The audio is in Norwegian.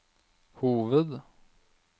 hoved